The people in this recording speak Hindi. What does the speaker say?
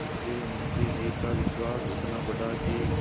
धीरेधीरे मुंशी जी का विश्वास इतना बढ़ा कि